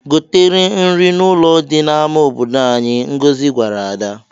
"Goteere nri n'ụlọ dị n'ama obodo anyị," Ngozi gwara Ada.